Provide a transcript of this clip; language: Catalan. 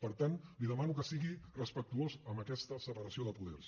per tant li demano que sigui respectuós amb aquesta separació de poders